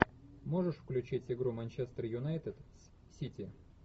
можешь включить игру манчестер юнайтед с сити